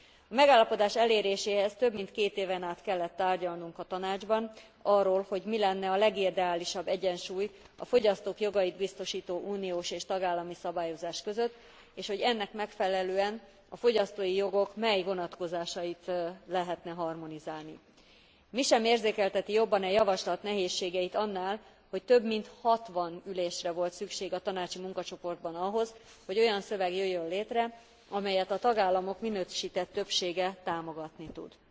A megállapodás eléréséhez több mint két éven át kellett tárgyalnunk a Tanácsban arról, hogy mi lenne a legideálisabb egyensúly a fogyasztók jogait biztosító uniós és tagállami szabályozás között, és hogy ennek megfelelően a fogyasztói jogok mely vonatkozásait lehetne harmonizálni. Mi sem érzékelteti jobban e javaslat nehézségeit annál, hogy több mint hatvan ülésre volt szükség a tanácsi munkacsoportban ahhoz, hogy olyan szöveg jöjjön létre, amelyet a tagállamok minősített többsége támogatni tud.